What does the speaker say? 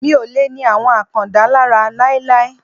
Mi ò lè ni àwọn Àkàndá lára láíláí.